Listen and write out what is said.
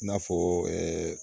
I n'a fɔ